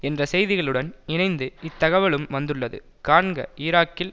என்ற செய்திகளுடன் இணைந்து இத்தகவலும் வந்துள்ளது காண்க ஈராக்கில்